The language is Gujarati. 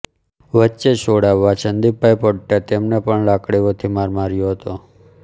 વચ્ચે છોડાવવા સંદીપભાઇ પડતા તેમને પણ લાકડીઅોથી મારમાર્યો હતો